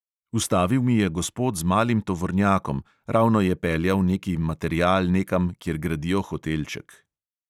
Ustavil mi je gospod z malim tovornjakom, ravno je peljal neki material nekam, kjer gradijo hotelček.